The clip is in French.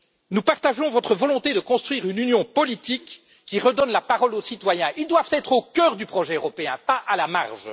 Nous partageons votre volonté de construire une Union politique qui redonne la parole aux citoyens, qui doivent être au cœur du projet européen, pas à la marge.